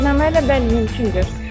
Etibarnamə ilə bəli mümkündür.